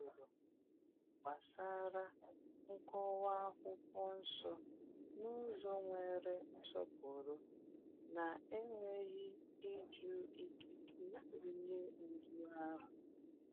O jụrụ gbasara nkọwa akwụkwọ nsọ n’ụzọ nwere nsọpụrụ, na-enweghị ịjụ ikike onye ndu ahụ.